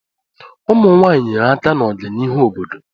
Ụmụ nwanyị nyere aka na ọganihu obodo